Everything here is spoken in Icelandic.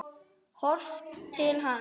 Horft til hafs.